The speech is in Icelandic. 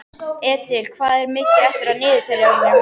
Edil, hvað er mikið eftir af niðurteljaranum?